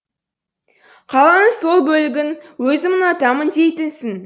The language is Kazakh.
қаланың сол бөлігін өзім ұнатамын дейтінсің